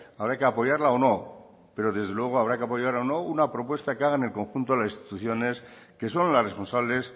habrá que apoyarla o no pero desde luego habrá que apoyarla o no una propuesta que hagan el conjunto de las instituciones que son las responsables